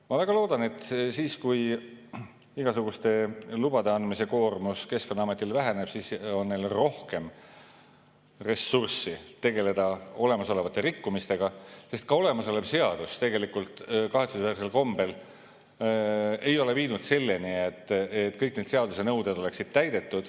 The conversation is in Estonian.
Ma väga loodan, et kui igasuguste lubade andmise koormus Keskkonnaametis väheneb, siis on neil rohkem ressurssi tegeleda juba toimunud rikkumistega, sest olemasolev seadus tegelikult kahetsusväärsel kombel ei ole viinud selleni, et kõik need seaduse nõuded oleksid täidetud.